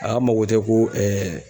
A ka mago tɛ ko